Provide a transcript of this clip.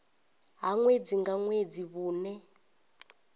ha ṅwedzi nga ṅwedzi vhune